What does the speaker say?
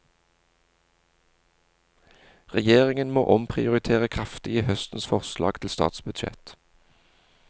Regjeringen må omprioritere kraftig i høstens forslag til statsbudsjett.